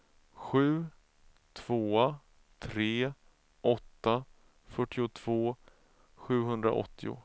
sju två tre åtta fyrtiotvå sjuhundraåttio